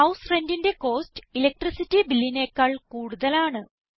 house rent ന്റെ cost electricity Billനെക്കാൾ കൂടുതലാണ്